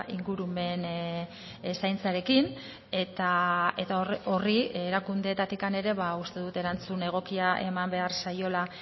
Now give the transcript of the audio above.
ingurumen zaintzarekin eta horri erakundeetatik ere uste dut erantzun egokia eman behar zaiola